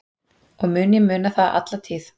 Og mun ég muna það alla tíð.